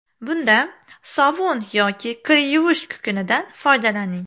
Bunda sovun yoki kir yuvish kukunidan foydalaning.